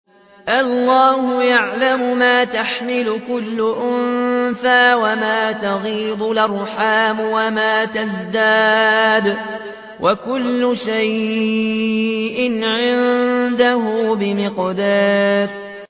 اللَّهُ يَعْلَمُ مَا تَحْمِلُ كُلُّ أُنثَىٰ وَمَا تَغِيضُ الْأَرْحَامُ وَمَا تَزْدَادُ ۖ وَكُلُّ شَيْءٍ عِندَهُ بِمِقْدَارٍ